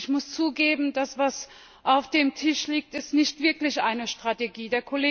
Ich muss zugeben Das, was auf dem Tisch liegt, ist nicht wirklich eine Strategie.